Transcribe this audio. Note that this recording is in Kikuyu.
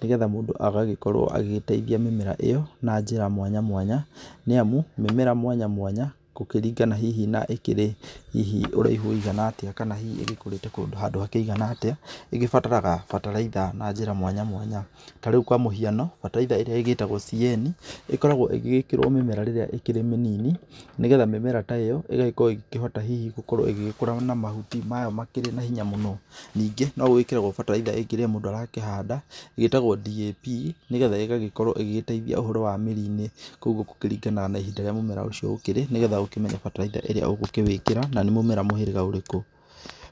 nĩgetha mũndũ agagĩkorwo agĩgĩteithia mĩmera ĩyo na njĩra mwanyamwanya, nĩ amu mĩmera mwanya mwanya gũkĩringana hihi na ĩkĩrĩ na hihi ũraihu wĩigana atĩa kana hihi ĩgĩkũrĩte kũndũ handũ hakĩigana atĩa, ĩgĩbataraga bataraitha na njĩra mwanya mwanya. Ta rĩu kwa mũhiano bataraitha ĩrĩa ĩgĩtagwo CAN, ĩkoragwo ĩgĩgĩkĩrwo mĩmera rĩrĩa ĩ mĩnini. Nĩgetha mĩmera ta ĩyo ĩgagĩkorwo ĩgĩkĩhota hihi gũkorwo ĩgĩkũra na mahuti mayo makĩrĩ na hinya mũno. Ningĩ no gũgĩkĩragwo bataraitha ĩngĩ rĩrĩa mũndũ arakĩhanda, ĩtagwo DAP, nĩgetha ĩgagĩkorwo ĩgĩteithia ũhoro wa mĩri-inĩ koguo gũkĩringana na ihinda rĩrĩa mũmera ũcio ũkĩrĩ, nĩgetha ũkĩmenye bataraitha ĩrĩa ũgũkĩwĩkĩra na nĩ mũmera mũthemba ũrĩkũ.